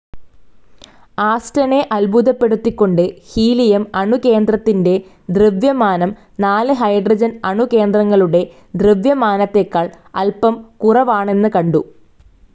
ആസ്റ്റണെ അത്ഭുതപ്പെടുത്തികൊണ്ട് ഹീലിയം അണുകേന്ദ്രത്തിന്റെ ദ്രവ്യമാനം നാല് ഹൈഡ്രോജൻ അണുകേന്ദ്രങ്ങളുടെ ദ്രവ്യമാനത്തേക്കാൾ അല്‌പം കുറവാണെന്ന് കണ്ടു.